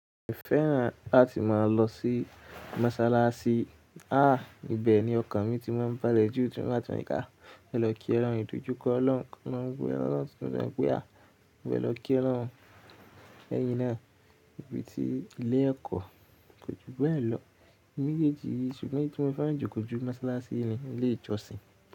Mo fẹ́ràn láti máa lọ sí Mọ́sálásí. Ah! Ibẹ̀ ni ọkan mi ti máa ń bá lẹ́jú tiwọn bátun ìkà. Mo fe lọ kí olorun ìdọ́jú kọ́ olorun. Lọ́wọ́ ẹran lọ́tùú díẹ̀ pé á. Mo fẹ́ lọ kí olorun ẹyin náà níbi ti ilé ẹ̀kọ́. Kò jù bẹ́ẹ̀ lọ me jéèjì yi ṣùgbọ́n nítorí pé mo fẹ́ràn jù kọ́ jù Mọ́sálásí ni ilé ìjọsìn.